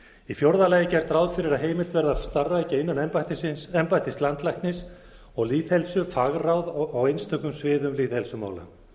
í fjórða lagi er gert ráð fyrir að heimilt verði að starfrækja innan embættis landlæknis og lýðheilsu fagráð á einstökum sviðum lýðheilsumála